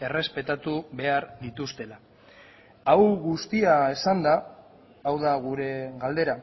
errespetatu behar dituztela hau guztia esanda hau da gure galdera